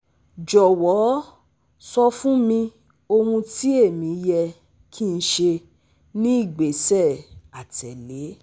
Jọwọ sọ fun mi ohun ti emi yẹ ki n ṣe ni igbesẹ atẹle